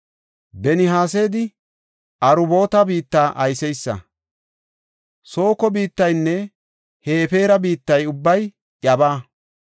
Benihesedi Aruboota biitta ayseysa; Sooko biittaynne Hefeera biittay ubbay iyabaa.